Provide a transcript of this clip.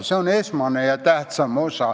See on esmane ja tähtsam tähendus.